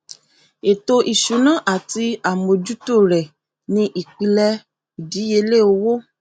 ètò ìsúná àti àmójútó rẹ ni ìpìlẹ ìdíyelé owó